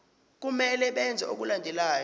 kumele benze okulandelayo